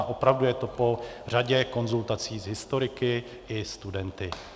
A opravdu je to po řadě konzultací s historiky i studenty.